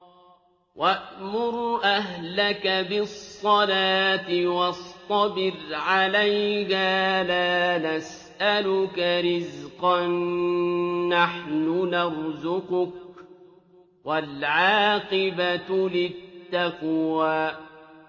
وَأْمُرْ أَهْلَكَ بِالصَّلَاةِ وَاصْطَبِرْ عَلَيْهَا ۖ لَا نَسْأَلُكَ رِزْقًا ۖ نَّحْنُ نَرْزُقُكَ ۗ وَالْعَاقِبَةُ لِلتَّقْوَىٰ